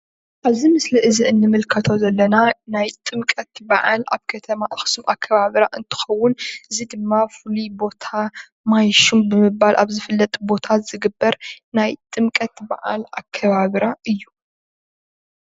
ኣብዚ ምስሊ እዚ እንምልከቶ ዘለና ናይ ጥምቀት በዓል ኣብ ከተማ ኣክሱም ኣከባብራ እንትከውን እዚ ድማ ፍሉይ ቦታ ማይሹም ብምባል ኣብ ዝፍለጥ ቦታ ኣብ ዝግበር ናይ ጥምቀት በዓል ኣከባብራ እዩ፡፡